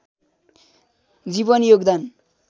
जीवनी योगदान